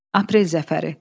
Aprel zəfəri.